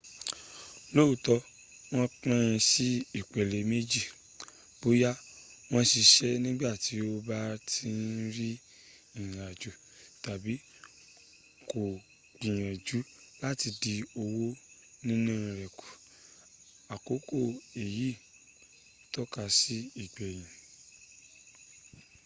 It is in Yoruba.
looto won pin si ipele meji boya wa sise nigba ti o ba n rin irin ajo tabi ko gbiyanju lati din owo nina re ku aroko eyi tokasi ti igbeyin